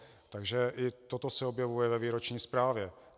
Takže i toto se objevuje ve výroční zprávě.